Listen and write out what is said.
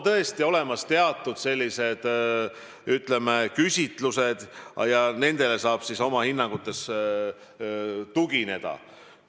Ka on tehtud teatud küsitlusi ja nendele saame oma hinnangutes tugineda.